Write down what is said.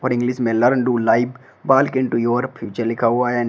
English में learn to live walk into future लिखा हुआ है।